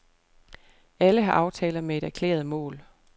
Alle har aftaler med et erklæret mål.